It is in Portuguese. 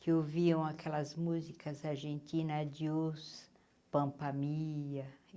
que ouviam aquelas músicas argentina, adiós, Pampa Mia.